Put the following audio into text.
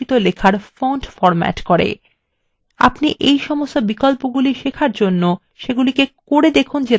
আপনি এই সমস্ত বিকল্পগুলি শেখার জন্য করে দেখুন তারা কি করে